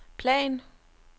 plan